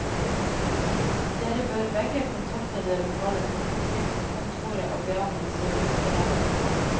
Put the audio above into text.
Dere bør begge kontakte det lokale folketrygdkontoret og be om en serviceberegning.